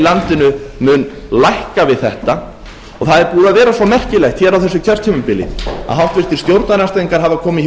landinu mun lækka við þetta það er búið að vera svo merkilegt hér á þessu kjörtímabili að háttvirtur stjórnarandstæðingar hafa komið hér upp